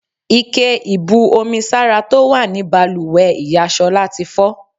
Ike ibú omi sára tó wà ní bàlùwẹ̀ ìyá Ṣọlá tí fọ́.